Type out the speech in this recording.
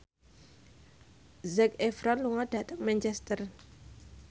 Zac Efron lunga dhateng Manchester